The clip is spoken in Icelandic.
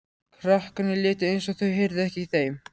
Krakkarnir létu eins og þau heyrðu ekki í þeim.